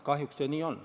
Kahjuks see nii on.